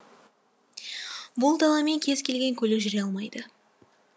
бұл даламен кез келген көлік жүре алмайды